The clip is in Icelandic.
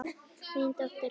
Þín dóttir, Bára.